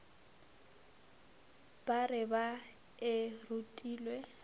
ba re ba e rutilwe